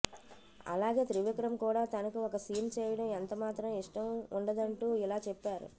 అలాగే త్రివిక్రమ్ కూడా తనకి ఒక సీన్ చేయడం ఎంతమాత్రం ఇష్టం ఉండదంటూ ఇలా చెప్పారు